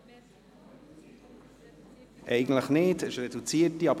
Eigentlich nicht, es handelt sich um eine reduzierte Debatte.